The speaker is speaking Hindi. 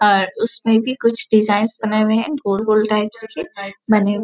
और उसमें की कुछ डिजाइन बने हुए हैं गोल-गोल टाइप्स के बने हुए--